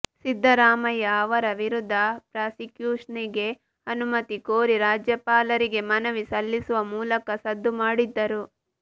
ಸಿದ್ದರಾಮಯ್ಯ ಅವರ ವಿರುದ್ಧ ಪ್ರಾಸಿಕ್ಯೂಷನ್ಗೆ ಅನುಮತಿ ಕೋರಿ ರಾಜ್ಯಪಾಲರಿಗೆ ಮನವಿ ಸಲ್ಲಿಸುವ ಮೂಲಕ ಸದ್ದು ಮಾಡಿದ್ದರು